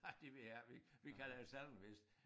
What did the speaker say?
Nej det ved jeg jeg ikke vi vi kalder det sallingwhist